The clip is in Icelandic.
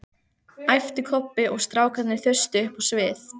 æpti Kobbi og strákarnir þustu upp á sviðið